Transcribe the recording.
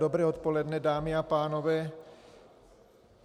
Dobré odpoledne, dámy a pánové.